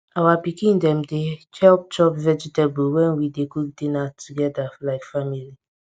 our pikin dem dey help chop vegetables when we dey cook dinner togeda like family